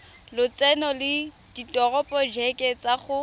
lotseno le diporojeke tsa go